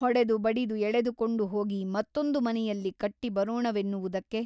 ಹೊಡೆದು ಬಡಿದು ಎಳೆದುಕೊಂಡು ಹೋಗಿ ಮತ್ತೊಂದು ಮನೆಯಲ್ಲಿ ಕಟ್ಟಿ ಬರೋಣವೆನ್ನುವುದಕ್ಕೆ ?